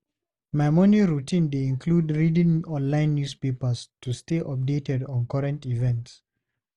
My morning routine dey include reading online newspapers to stay updated on current events.